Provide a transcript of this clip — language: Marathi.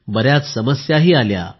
बर्याच समस्याही आल्या